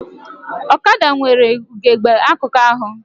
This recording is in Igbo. Ọkada nwere ugegbe akụkụ abụọ